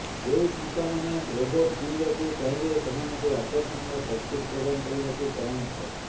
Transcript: ଯେଉଁ ସଂସ୍ଥାମାନେ ରୋବୋଟ୍ କିଣିବାକୁ ଚାହିଁବେ ସେମାନଙ୍କୁ ଆକର୍ଷଣୀୟ ସବସିଡ୍ ପ୍ରଦାନ କରିବାକୁ ପରାମର୍ଶ